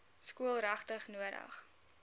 skool regtig nodig